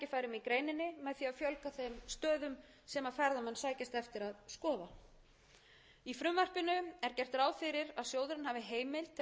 þeim stöðum sem ferðamenn sækjast eftir að skoða í frumvarpinu er gert ráð fyrir að sjóðurinn hafi